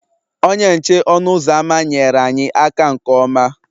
Onye nche ọnụ ụzọ ámá nyeere anyị aka nke ọma